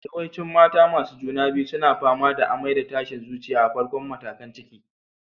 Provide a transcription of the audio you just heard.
Yawancin mata masu juna biyu suna fama da amai da tashin zuciya a farkon matakan ciki.